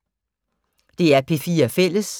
DR P4 Fælles